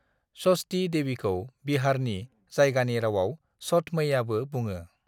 षष्ठी देवीखौ बिहारनि जायगानि रावाव छठ मैयाबो बुंङो ।